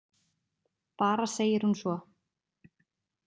Bara segir hún svo.